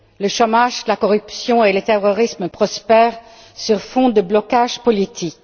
Le chômage, la corruption et le terrorisme prospèrent sur fond de blocage politique.